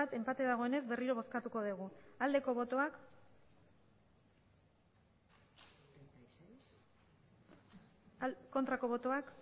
enpate dagoenez berriro bozkatuko dugu aldeko botoak aurkako botoak